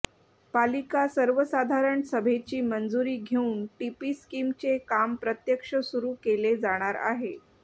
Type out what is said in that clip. पालिका सर्वसाधारण सभेची मंजुरी घेऊन टीपी स्किमचे काम प्रत्यक्ष सुरू केले जाणार आहे